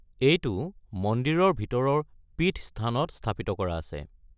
এইটো মন্দিৰৰ ভিতৰৰ পীঠস্থানত স্থাপিত কৰা আছে।